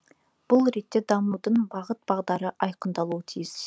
бұл ретте дамудың бағыт бағдары айқындалуы тиіс